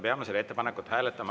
Peame selle ettepanekut hääletama.